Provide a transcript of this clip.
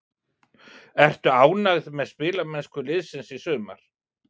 Ertu ánægð með spilamennsku liðsins í sumar?